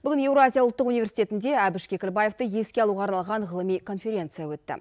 бүгін еуразия ұлттық университетінде әбіш кекілбаевты еске алуға арналған ғылыми конференция өтті